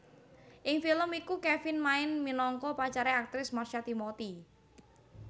Ing film iku Kevin main minangka pacare aktris Marsha Timothy